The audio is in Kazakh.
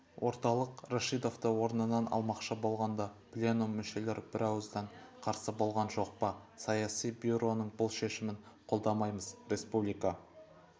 орталық рашидовты орнынан алмақшы болғанда пленум мүшелер брауыздан қарсы болған жоқ па саяси бюроның бұл шешімін қолдамаймыз республика